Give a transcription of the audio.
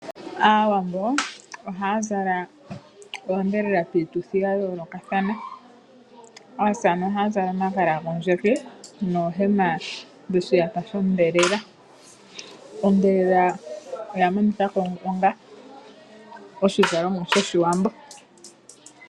Aawambo ohaya zala oodhelela piituthi ya yoolokathana. Aasamane oha zala omagala gondjeke noohema dhoshiyata shodhelela. Odhelela oya monikwako onga oshizalomwa shoshiwambo.